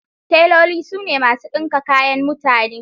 Teloli su ne masu ɗinka kayan mutane.